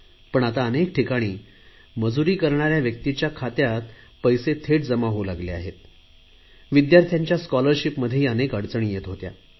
पण आता अनेक ठिकाणी मजुरी करणाऱ्या व्यक्तींच्या खात्यात पैसे थेट जमा होतात विद्यार्यिांना स्कॉलरशिपमध्येही अनेक अडचणी येत होत्या